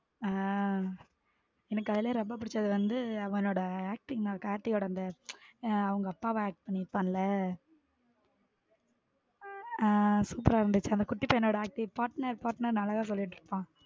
ஹம் எனக்கு அதிலேயே ரொம்ப பிடிச்சது வந்து அவன்னோட acting தான் கார்த்தியோட அந்த அவங்க அப்பாவ acting பண்ணி இருப்பான் ல ஹம் super ஆ இருந்துச்சு அந்த குட்டி பையனோட acting partner partner அழகா சொல்லிட்டு இருப்பான்.